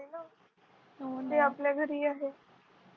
ते आपल्या घरी आहे